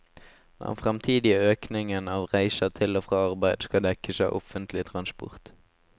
Den fremtidige økningen av reiser til og fra arbeid skal dekkes av offentlig transport.